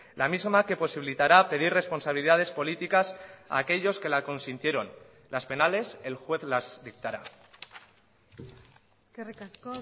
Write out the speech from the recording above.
la misma que posibilitará pedir responsabilidades políticas a aquellos que la consintieron las penales el juez las dictará eskerrik asko